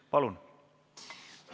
Palun!